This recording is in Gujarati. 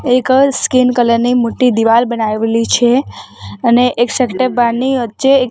એક સ્કિન કલર ની મોટ્ટી દીવાલ બનાવેલી છે અને એક સેક્ટર બારની વચ્ચે એક --